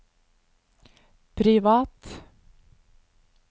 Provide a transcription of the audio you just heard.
privat